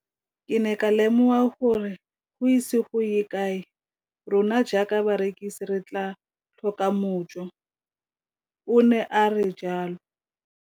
Ke ne ka lemoga gore go ise go ye kae rona jaaka barekise re tla tlhoka mojo, o ne a re jalo.